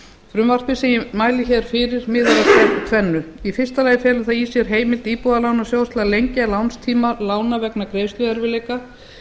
frumvarpið sem ég mæli hér fyrir miðar að tvennu í fyrsta lagi felur það í sér heimild íbúðalánasjóðs til að lengja lánstíma lána vegna greiðsluerfiðleika